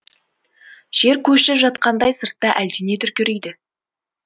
жер көшіп жатқандай сыртта әлдене дүркірейді